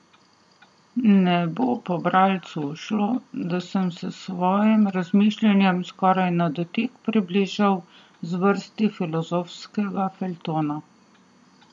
Ne bo pa bralcu ušlo, da sem se v svojem razmišljanju skoraj na dotik približal zvrsti filozofskega feljtona.